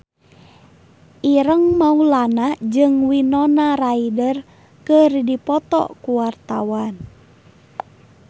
Ireng Maulana jeung Winona Ryder keur dipoto ku wartawan